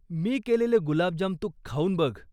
मी केलेले गुलाबजाम तू खाऊन बघ.